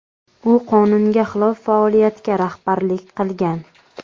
U qonunga xilof faoliyatga rahbarlik qilgan.